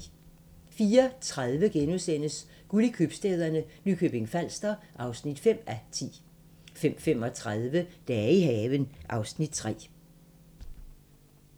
04:30: Guld i købstæderne – Nykøbing Falster (5:10)* 05:35: Dage i haven (Afs. 3)